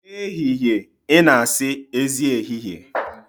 N'ehihie ị na-asị, Ezi ehihie.